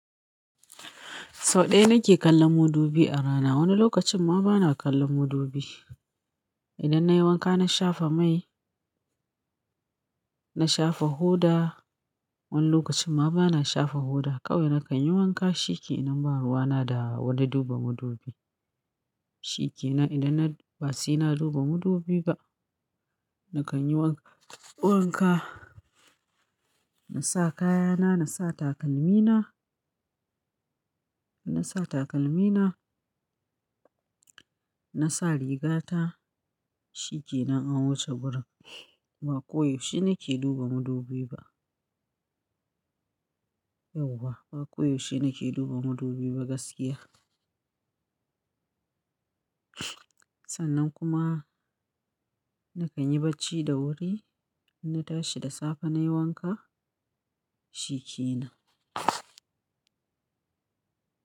Sau ɗaya nake kallon madubi a rana, wani lokacin ma bana kallon madubi. Idan nayi wanka na shafa mai, na shafa hoda, wani lokacin ma bana shafa hoda. Kawai nakan yi wanka shikenan ba ruwa na da wani duba madubi. Shike na idan na batsi na duba madubi ba, nakan yi wanka, na sa kayana, na sa takalmina, na sa takalmina, na sa riga ta shike nan anwuce gurin. Ba koyaushe nake duba madubi ba. Yau ba, ba koyaushe nake duba madubi ba gaskiya. Sannan kuma nakan yi bacci da wuri, na tashi da safe nayi wanka shike na.